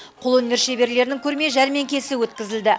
қолөнер шеберлерінің көрме жәрмеңкесі өткізілді